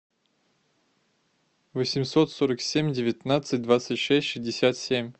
восемьсот сорок семь девятнадцать двадцать шесть шестьдесят семь